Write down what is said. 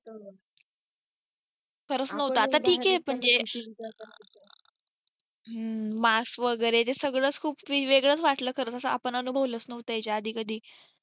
खरच नव्हत आता ठीक आहे म्हणजे हम्म mask वगैरे जे सगळच खूप वेगळच वाटलं कारण आपण कधी अनुभवलच नव्हते याच्या आधी कधी